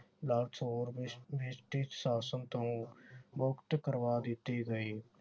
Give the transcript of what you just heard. ਦਾਸੌਰ British ਸ਼ਾਸਨ ਤੋਂ ਮੁਕਤ ਕਰਵਾ ਦਿੱਤੇ ਗਏ।